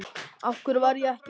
Af hverju varð ég ekki áfram?